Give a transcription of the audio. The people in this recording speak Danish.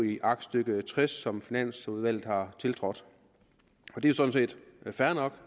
i aktstykke tres som finansudvalget har tiltrådt det er sådan set fair nok